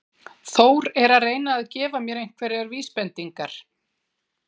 Þór er að reyna að gefa mér einhverjar vísbendingar.